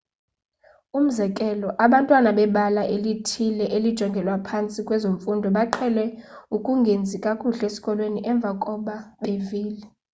umzekelo abantwana bebala elithile elijongelwa phantsi kwezemfundo baqhele ukungenzi kakuhle esikolweni emva koba bevile